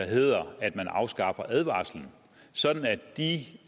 hedder at man afskaffer advarslen sådan at de